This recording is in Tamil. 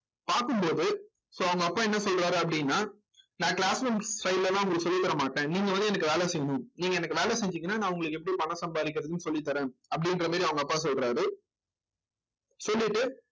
பார்க்கும் போது so அவங்க அப்பா என்ன சொல்றாரு அப்படின்னா நான் class room side ல எல்லாம் உங்களுக்கு சொல்லித் தர மாட்டேன் நீங்க வந்து எனக்கு வேலை செய்யணும் நீங்க எனக்கு வேலை செஞ்சீங்கன்னா நான் உங்களுக்கு எப்படி பணம் சம்பாதிக்கிறதுன்னு சொல்லித் தர்றேன் அப்படின்ற மாதிரி அவங்க அப்பா சொல்றாரு சொல்லிட்டு